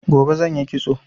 Gobe zan yi kitso